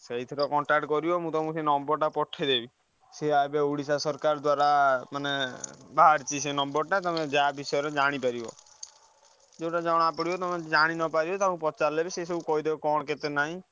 ସେଇଥିରେ contact କରିବ ମୁଁ ତମକୁ ସେ number ଟା ପଠେଇଦେବି ସିଏ ଏବେ ଓଡ଼ିଶା ସରକାର ଦ୍ବାରା ମାନେ ବାହାରିଛି ସେ number ଟା ତମେ ଯାହା ବିଷୟରେ ଜାଣି ପାରିବ ଯୋଉଟ ଜଣା ପଡିବ ତମେ ଜାଣି ନ ପାରିବ ତମେ ପଚାରିଲେ ବି ସିଏ ସବୁ କହିଦେବେ କଣ କେତେ ନାହିଁ।